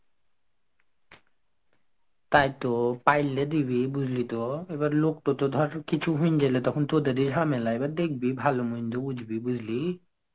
তাইতো পাইলে দিবি বুঝলি তো. এবার লোকটা তো ধর কিছু হয়েন গেলে তখন তোদের ঝামেলা, এবার দেখবি ভালো মন্দ বুঝবি বুঝলি?